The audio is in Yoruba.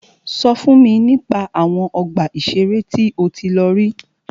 Sọ fún mi nípa àwọn ọgbà ìṣẹ̀rẹ́ tí o tí lọ rí.